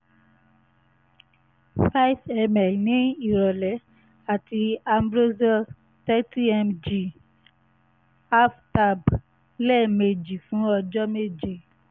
5 ml ní ìrọ̀lẹ́ àti ambroxol 30 mg 1/2 tab lẹ́ẹ̀mejì fún ọjọ́ méje